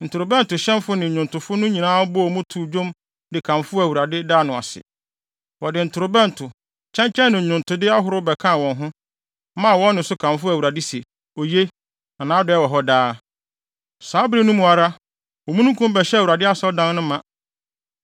Ntorobɛntohyɛnfo ne nnwontofo no nyinaa bɔɔ mu too dwom de kamfoo Awurade, daa no ase. Wɔde ntorobɛnto, kyɛnkyɛn ne nnwontode ahorow bɛkaa wɔn ho, maa wɔn nne so kamfoo Awurade sɛ: “Oye! Na nʼadɔe wɔ hɔ daa!” Saa bere no mu ara, omununkum bɛhyɛɛ Awurade asɔredan no ma.